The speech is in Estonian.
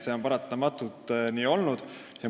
See on paratamatult seni nii olnud.